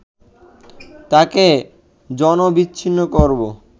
তাকে জনবিচ্ছিন্ন করব